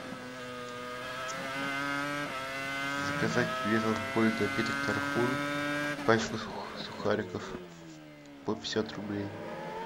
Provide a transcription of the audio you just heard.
заказать безалкогольный напиток тархун пачку сухариков по пятьдесят рублей